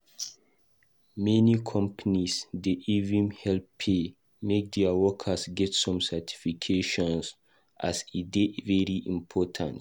Many companies dey even help pay make their workers get some certification as e dey very important.